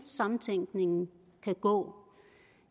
samtænkningen kan gå